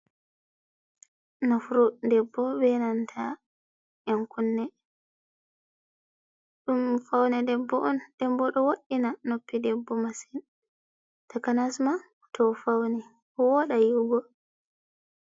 Nuppru debbo be nanta yankunne. Ɗum faune debbo on. Ɗebbo do woddina noppi debbo masin, takanasma to ofauni wooɗa yi'ugo.